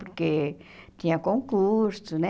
Porque tinha concurso, né?